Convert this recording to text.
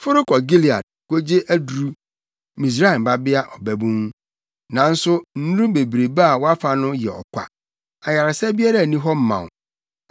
“Foro kɔ Gilead kogye aduru Misraim Babea Ɔbabun. Nanso nnuru bebrebe a wofa no yɛ ɔkwa, ayaresa biara nni hɔ ma wo.